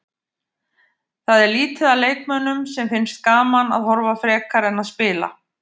Það er lítið af leikmönnum sem finnst gaman að horfa frekar en að spila.